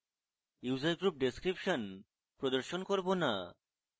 user group description প্রদর্শন করব না